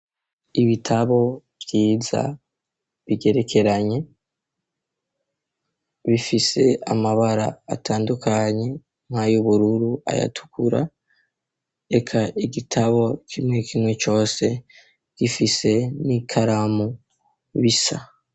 Ibitabo vyiza bigerekeranye bifise amabara atandukanye mka yubururu ayatukura eka igitabo kimwe kimwe cose gifise n'ikaramu bisa.